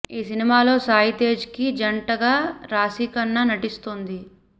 ఈ సినిమాలో సాయి తేజ్ కి జంటగా రాశి ఖన్నా నటిస్తోంది